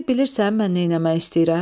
İndi bilirsən mən nə eləmək istəyirəm?"